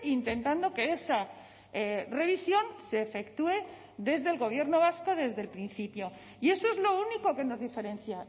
intentando que esa revisión se efectúe desde el gobierno vasco desde el principio y eso es lo único que nos diferencia